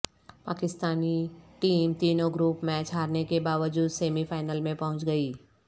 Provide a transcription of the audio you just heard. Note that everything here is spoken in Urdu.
پاکستانی ٹیم تینوں گروپ میچ ہارنے کے باوجود سیمی فائنل میں پہنچ گئی